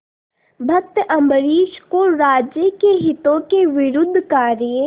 भक्त अम्बरीश को राज्य के हितों के विरुद्ध कार्य